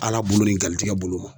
Ala bolo ni galtigɛ bolo ma